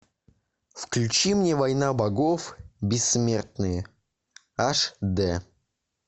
включи мне война богов бессмертные аш дэ